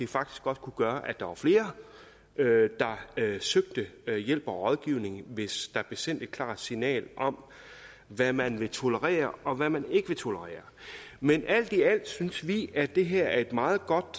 faktisk godt kunne gøre at der var flere der søgte hjælp og rådgivning hvis der blev sendt et klart signal om hvad man vil tolerere og hvad man ikke vil tolerere men alt i alt synes vi at det her er et meget godt